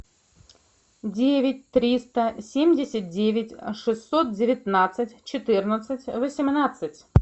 девять триста семьдесят девять шестьсот девятнадцать четырнадцать восемнадцать